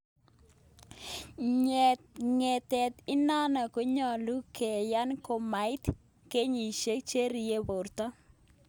Nyeyet inano koyalu keyan komait ngeyisiek che rinyen porta